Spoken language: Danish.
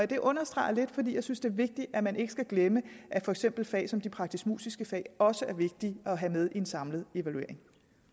det understreger jeg lidt fordi jeg synes det er vigtigt at man ikke glemmer at for eksempel fag som de praktiskemusiske fag også er vigtige at have med i en samlet evaluering